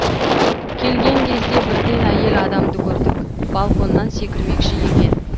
келген кезде бірден әйел адамды көрдік балконнан секірмекші екен